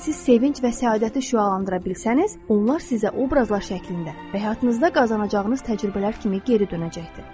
Əgər siz sevinc və səadəti şüalandıra bilsəniz, onlar sizə obrazlar şəklində və həyatınızda qazanacağınız təcrübələr kimi geri dönəcəkdir.